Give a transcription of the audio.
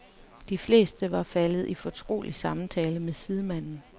De fleste var faldet i fortrolig samtale med sidemanden.